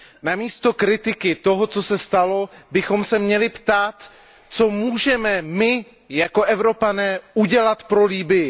Na místo kritiky toho, co se stalo, bychom se měli ptát, co můžeme my jako Evropané udělat pro Libyi?